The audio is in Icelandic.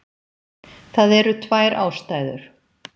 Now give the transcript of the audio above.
Það eru tvær ástæður.